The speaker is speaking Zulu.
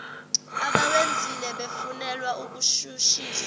abawenzile befunelwa ukushushiswa